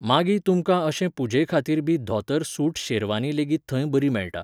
मागीं तुमकां अशे पुजेखातीर बी धोतर सूट शेरवानी लेगीत थंय बरी मेळटा